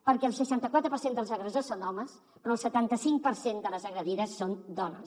perquè el seixanta quatre per cent dels agressors són homes però el setanta cinc per cent de les agredides són dones